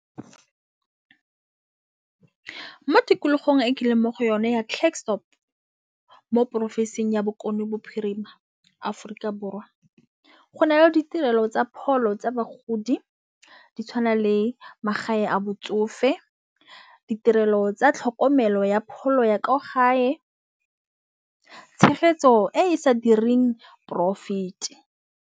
Mo tikologong e ke leng mo go yone ya Klersdorp mo porofensing ya Bokone Bophirima Aforika Borwa. Go na le ditirelo tsa pholo tsa bagodi di tshwana le magae a botsofe, ditirelo tsa tlhokomelo ya pholo ya ko gae. Tshegetso e sa direng profit.